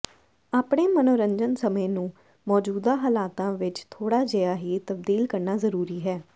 ਆਪਣੇ ਮਨੋਰੰਜਨ ਸਮੇਂ ਨੂੰ ਮੌਜੂਦਾ ਹਾਲਾਤਾਂ ਵਿਚ ਥੋੜਾ ਜਿਹਾ ਹੀ ਤਬਦੀਲ ਕਰਨਾ ਜ਼ਰੂਰੀ ਹੈ